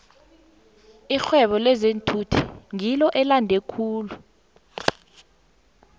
irhwebo lezeenthuthi ngilo elande khulu